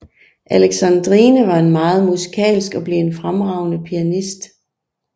Alexandrine var meget musikalsk og blev en fremragende pianist